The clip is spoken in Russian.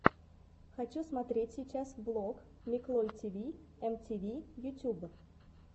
хочу смотреть сейчас влог миклой тиви эм ти ви ютюб